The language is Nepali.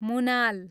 मुनाल